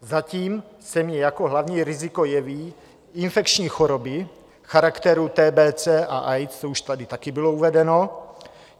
Zatím se mi jako hlavní riziko jeví infekční choroby charakteru TBC a AIDS, to už tady taky bylo uvedeno.